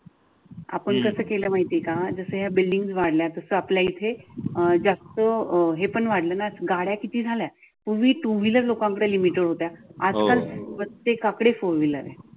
आपण कास केलं माहिती आहे का जस या बिल्डिंग वाढल्या तस आपल्या इथे अह जास्त अं हे पण वाढल न गाड्या किती झाल्या पूर्वी टू व्हीलर लोकांकडे लिमिटेड होत्या. आजकाल प्रत्येकाकडे फोर व्हीलर आहे